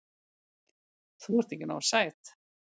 Þú ert ekki nógu sæt.